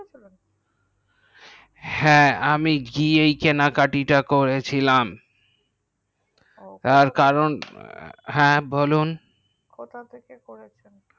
হ্যাঁ আমি গিয়ে কেনাকাটি করেছিলাম তার কারণ হ্যাঁ বলুন কোথা থেকে করেছেন